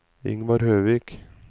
Ingvar Høvik